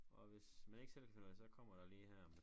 Og hvis man ikke selv kan finde ud af det så kommer der lige her